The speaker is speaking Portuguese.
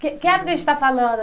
Que que época a gente está falando?